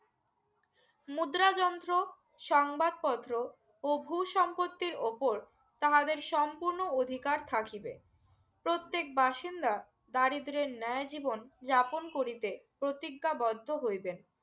মুদ্রা যন্ত্র সংবাদপত্র ও ভূসম্পত্তি উপর তাহাদের সম্পূর্ণ অধিকার থাকিবে প্রত্যেক বাসিন্দা দারিদ্র্যের ন্যায় জীবন যাপন করিতে প্রতিজ্ঞা বদ্ধ হইবেন